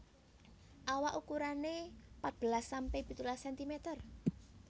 Awak ukurane patbelas sampe pitulas sentimeter